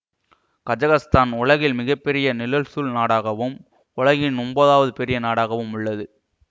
Kazakhstan உலகில் மிக பெரிய நிலல்சூழ் நாடாகவும் உலகின் ஒன்பதாவது பெரிய நாடாகவும் உள்ளது